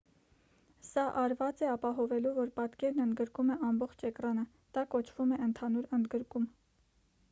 սա արված է ապահովելու որ պատկերն ընդգրկում է ամբողջ էկրանը դա կոչվում է ընդհանուր ընդգրկում